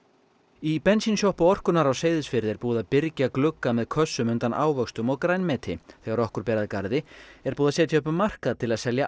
í bensínsjoppu orkunnar á Seyðisfirði er búið að byrgja glugga með kössum undan ávöxtum og grænmeti þegar okkur ber að garði er búið að setja upp markað til að selja